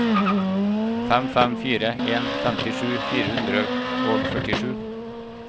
fem fem fire en femtisju fire hundre og førtisju